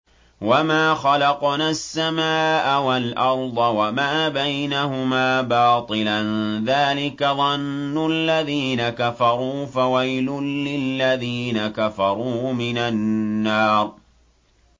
وَمَا خَلَقْنَا السَّمَاءَ وَالْأَرْضَ وَمَا بَيْنَهُمَا بَاطِلًا ۚ ذَٰلِكَ ظَنُّ الَّذِينَ كَفَرُوا ۚ فَوَيْلٌ لِّلَّذِينَ كَفَرُوا مِنَ النَّارِ